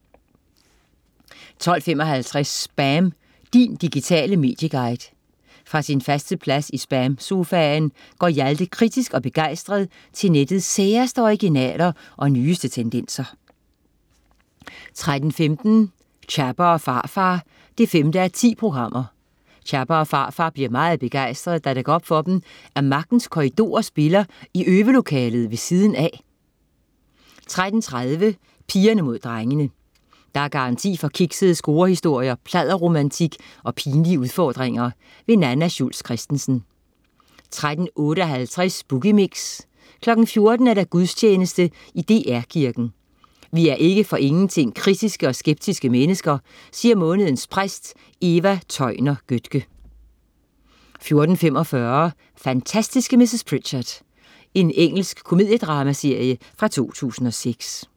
12.55 SPAM. Din digitale medieguide. Fra sin faste plads i SPAM-sofaen går Hjalte kritisk og begejstret til nettets særeste originaler og nyeste tendenser 13.15 Chapper & Pharfar 5:10. Chapper og Pharfar bliver meget begejstrede da det går op for dem at Magtens Korridorer spiller i øvelokalet ved siden af 13.30 Pigerne mod drengene. Der er garanti for kiksede scorehistorier, pladderromantik og pinlige udfordringer. Nanna Schultz Christensen 13.58 Boogie Mix 14.00 Gudstjeneste i DR Kirken. Vi er ikke for ingenting kritiske og skeptiske mennesker, siger månedens præst Eva Tøjner Götke 14.45 Fantastiske mrs. Pritchard. Engelsk komediedramaserie fra 2006